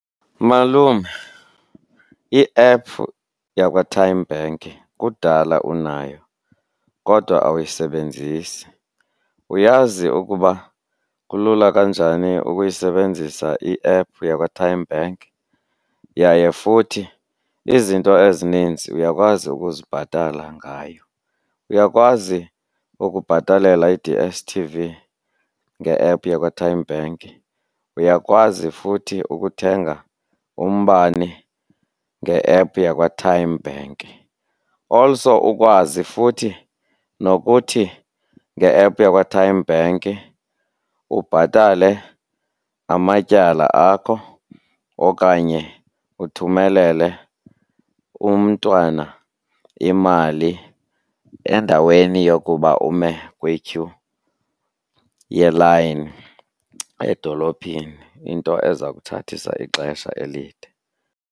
Malume, i-app yakwaTymeBank kudala unayo kodwa awuyisebenzisi. Uyazi ukuba kulula kanjani ukuyisebenzisa i-app yakwaTymeBank? Yaye futhi izinto ezininzi uyakwazi ukuzibhatala ngayo. Uyakwazi ukubhatalela i-D_S_T_V nge-app yakwaTymeBank, uyakwazi futhi ukuthenga umbane nge-app yakwaTymeBank. Also ukwazi futhi nokuthi nge-app yakwaTymeBank ubhatale amatyala akho okanye uthumelele umntwana imali endaweni yokuba ume kwityhu yelayini edolophini, into eza kuthathisa ixesha elide.